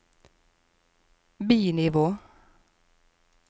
bi-nivå